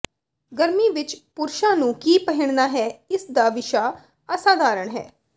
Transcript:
ਗਰਮੀ ਵਿਚ ਪੁਰਸ਼ਾਂ ਨੂੰ ਕੀ ਪਹਿਨਣਾ ਹੈ ਇਸ ਦਾ ਵਿਸ਼ਾ ਅਸਾਧਾਰਣ ਹੈ